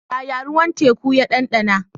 Yaya ruwan teku ya ɗanɗana?